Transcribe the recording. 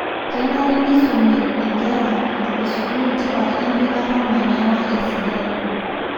kenare nisumi enkera esukul tipat empikata olmanyara esidai.